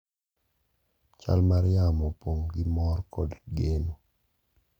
Chal mar yamo opong’ gi mor kod geno.